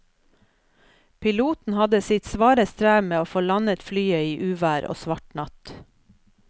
Piloten hadde sitt svare strev med å få landet flyet i uvær og svart natt.